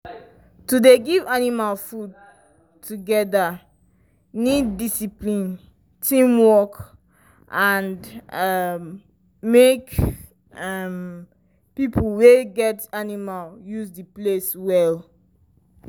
to dey give animal food together need discipline teamwork and um make um people wey get animal use the place well.